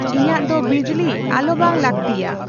ᱤᱧᱟᱜ ᱫᱚ ᱵᱤᱡᱽᱞᱤ ᱟᱞᱚ ᱵᱟᱝ ᱞᱟᱹᱠᱛᱤᱭᱟ